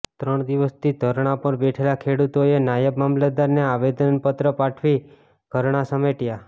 ત્રણ દિવસથી ધરણા પર બેઠેલા ખેડૂતોએ નાયબ મામલતદારને આવેદનપત્ર પાઠવી ધરણા સમેટ્યા